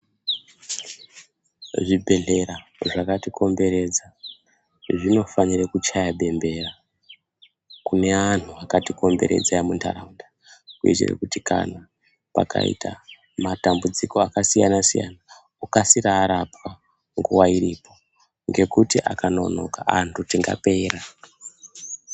Zvibhedhlera zvakatikomberedza zvinofanire kuchaya bembera kuneanhu akatikomberedza emundaraunda. Kuitire kuti kana pakaita matambudziko akasiyana-siyana okasira arapwa nguva iropo, ngekuti akanonoka antu tingapera.